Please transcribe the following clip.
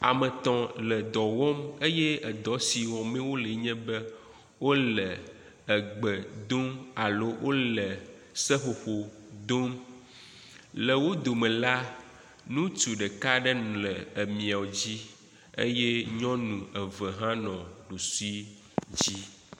Ame etɔ̃ le dɔ wɔm eye edɔ si wɔm wole nye be wole egbe dom alo wole seƒoƒo dom le wo dome la, nutsu ɖeka aɖe le emia dzi eye nyɔnu eve hã nɔ ɖusi ɖusi.